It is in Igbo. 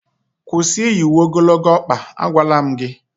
kwụsị iyi uwe ogologo ọkpa, agwala m gị!